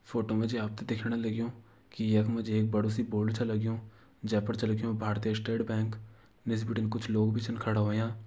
फोटो मा जि आपते दिखण लग्यूं कि यखम जि एक बडु सी बोलड़ च लग्यूं जे पर छे लिख्यूं भारतीय स्टेट बैंक निस बिटिन कुछ लोग भी छन खडा व्हयां।